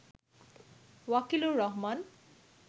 Wakilur Rahman